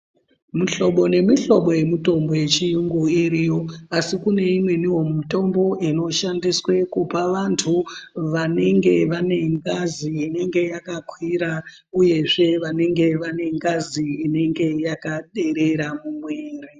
Mihlobo nemihlobo yemutombo yechiyungu iriyo asi kune imweniwo mitombo inoshandiswa kupa vantu vanenge vane ngazi inenge yakakwira uyezve vanenge vane ngazi inenge yakaderera mumwiri.